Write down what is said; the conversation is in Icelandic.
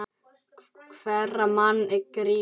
Hverra manna er Grýla?